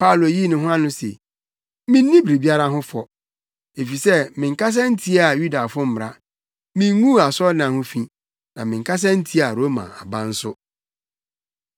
Paulo yii ne ho ano se, “Minni biribiara ho fɔ, efisɛ menkasa ntiaa Yudafo mmara; minguu asɔredan ho fi, na menkasa ntiaa Roma aban nso.”